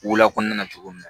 Wola kɔnɔna na cogo min na